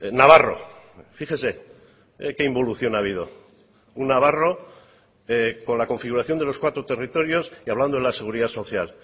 navarro fíjese que involución ha habido un navarro con la configuración de los cuatro territorios y hablando de la seguridad social